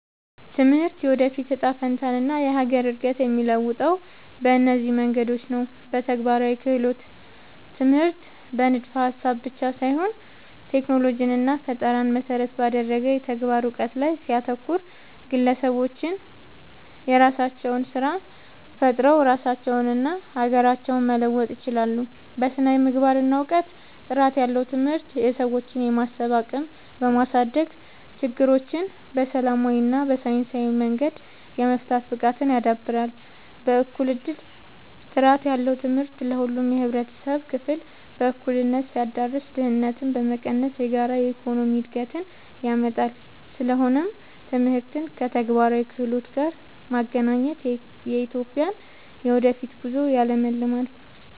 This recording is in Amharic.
ትምህርት የወደፊት እጣ ፈንታንና የሀገርን እድገት የሚለውጠው በእነዚህ መንገዶች ነው፦ በተግባራዊ ክህሎት፦ ትምህርት በንድፈ-ሀሳብ ብቻ ሳይሆን ቴክኖሎጂንና ፈጠራን መሰረት ባደረገ የተግባር እውቀት ላይ ሲያተኩር፣ ግለሰቦች የራሳቸውን ስራ ፈጥረው ራሳቸውንና ሀገራቸውን መለወጥ ይችላሉ። በስነ-ምግባርና እውቀት፦ ጥራት ያለው ትምህርት የሰዎችን የማሰብ አቅም በማሳደግ፣ ችግሮችን በሰላማዊና በሳይንሳዊ መንገድ የመፍታት ብቃትን ያዳብራል። በእኩል እድል፦ ጥራት ያለው ትምህርት ለሁሉም የህብረተሰብ ክፍል በእኩልነት ሲዳረስ፣ ድህነትን በመቀነስ የጋራ የኢኮኖሚ እድገትን ያመጣል። ስለሆነም ትምህርትን ከተግባራዊ ክህሎት ጋር ማገናኘት የኢትዮጵያን የወደፊት ጉዞ ያለምልማል።